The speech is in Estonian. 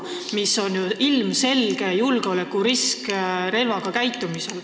See on ju relva käsitsemisel ilmselge julgeolekurisk.